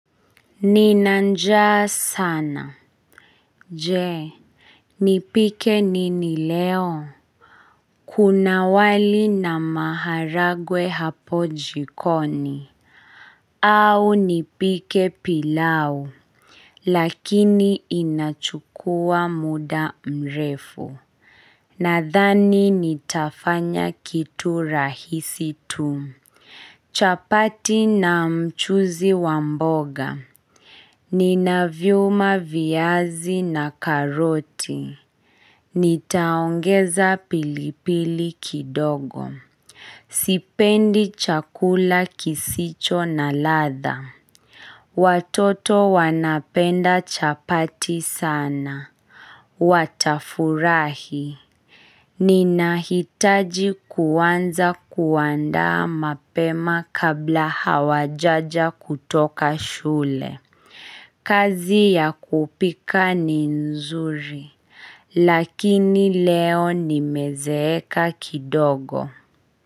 Nina njaa sana, je, nipike nini leo, kuna wali na maharagwe hapo jikoni, au nipike pilau, lakini inachukua muda mrefu, nathani nitafanya kitu rahisi tu. Chapati na mchuzi wamboga Nina vyuma viazi na karoti Nitaongeza pilipili kidogo Sipendi chakula kisicho na radha Watoto wanapenda chapati sana Watafurahi Ninahitaji kuanza kuandaa mapema kabla hawajaja kutoka shule. Kazi ya kupika ni nzuri, lakini leo ni mezeeka kidogo.